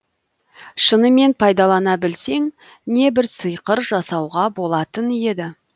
шынымен пайдалана білсең небір сиқыр жасауға болатын еді